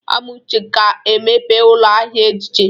Amuche ga-emepe ụlọ ahịa ejiji.